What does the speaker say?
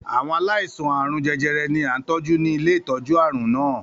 Àwọn aláìsàn àarun jẹjẹrẹ ni à ń tọ́jú ni ilé ìtọ́jú àrùn náà.